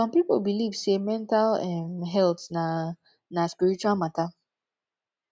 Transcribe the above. som pipo belief sey mental um health na na spiritual mata